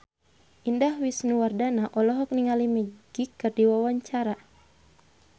Indah Wisnuwardana olohok ningali Magic keur diwawancara